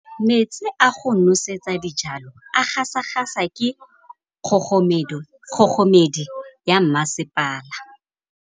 Metsi a go nosetsa dijalo a gasa gasa ke kgogomedi ya masepala.